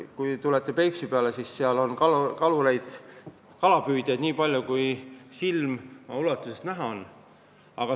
Kui tulete Peipsi äärde, siis näete, et seal on kalapüüdjaid nii palju, kui silm ulatub nägema.